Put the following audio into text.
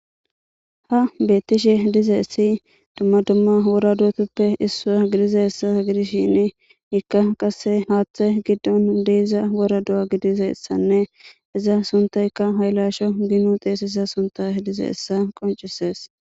ha beettishe dize essi dumma dumma wora dutuppe issaa gidize essa gidishin ikka qasse haaththe giddon diiza wora du7a gidize essanne iza suntayka haylasho ginu teesisa sunta dize essa qoncisees